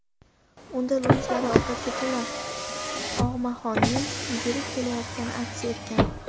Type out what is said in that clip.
Unda lunjlari ovqatga to‘la og‘maxonning yugurib ketayotgani aks etgan.